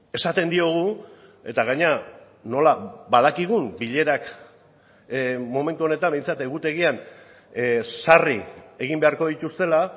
esaten diogu eta gainera nola badakigun bilerak momentu honetan behintzat egutegian sarri egin beharko dituztela